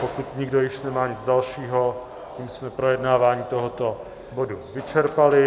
Pokud nikdo již nemá nic dalšího, tím jsme projednávání tohoto bodu vyčerpali.